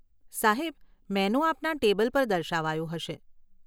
સાહેબ, મેનુ આપના ટેબલ પર દર્શાવાયું હશે.